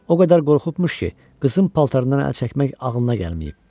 O qədər qorxubmuş ki, qızın paltarından əl çəkmək ağlına gəlməyib.